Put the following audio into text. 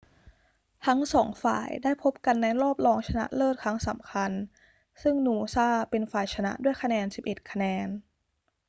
ทั้งสองฝ่ายได้พบกันในรอบรองชนะเลิศครั้งสำคัญ ซึ่งนูซ่าเป็นฝ่ายชนะด้วยคะแนน 11 คะแนน